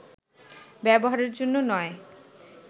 ব্যবহারের জন্য নয়